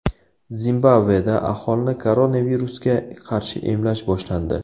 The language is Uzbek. Zimbabveda aholini koronavirusga qarshi emlash boshlandi.